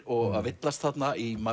og að villast þarna í